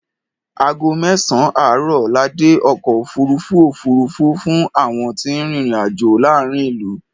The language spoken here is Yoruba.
Ago mẹ́sàn-án àárọ̀ la dé èbúté ọkọ̀ òfuurufú òfuurufú fún àwọn tí ń rin ìrìn-àjọ̀ láàárín ìlú.